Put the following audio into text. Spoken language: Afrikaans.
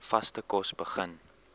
vaste kos begin